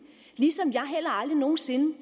ligesom jeg heller aldrig nogen sinde når